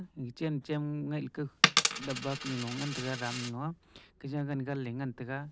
ega chen chem ngaih leka dabba kanulo ngan taiga drum nulo a keja ganganley ngan taiga.